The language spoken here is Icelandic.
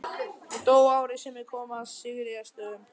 Hún dó árið sem ég kom að Sigríðarstöðum.